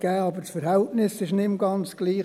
Aber das Verhältnis war nicht mehr ganz gleich.